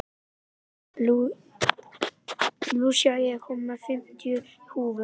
Lúsía, ég kom með fimmtíu húfur!